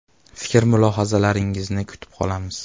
Fikr-mulohazalaringizni kutib qolamiz.